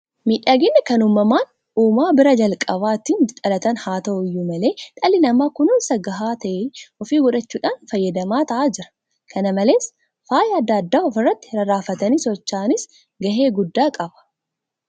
Miidhaginni kan uumamaan uumaa biraa jalqaba ittiin dhalatan haata'u iyyuu malee dhalli namaa kunuunsa gahaa ta'e ofii gochuudhaan fayyadamaa ta'aa jira. Kana malees faayyi adda addaa ofirratti rarraafatanii socho'anis gahee guddaa qaba.